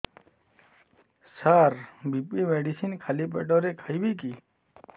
ସାର BP medicine ଖାଲି ପେଟରେ ଖାଇବି କି